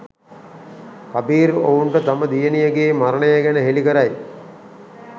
කබීර් ඔවුන්ට තම දියණියගේ මරණය ගැන හෙලි කරයි.